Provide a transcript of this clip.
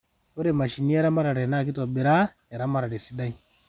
ore mashinini eramatare naa keitobiraa eramatare esidai